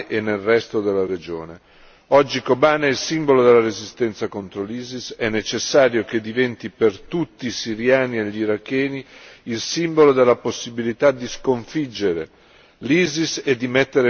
Oggi Kobane è il simbolo della resistenza contro l'ISIS, è necessario che diventi per tutti i siriani e gli iracheni il simbolo della possibilità di sconfiggere l'ISIS e di mettere fine al suo regime terroristico.